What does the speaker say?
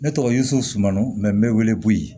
Ne tɔgɔ yo sunu mɛ n mɛ wele wele bo ye